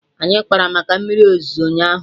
Anyị kpara maka mmiri ozuzo ụnyaahụ